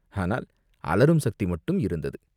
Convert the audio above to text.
ஆனால் அலறும் சக்தி மட்டும் இருந்தது.